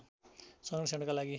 संरक्षणका लागि